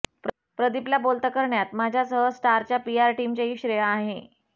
प्रदीपला बोलतं करण्यात माझ्यासह स्टारच्या पीआर टीमचेही श्रेय आहे